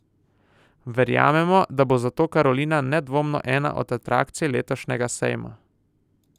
Verjamemo, da bo zato Carolina nedvomno ena od atrakcij letošnjega sejma.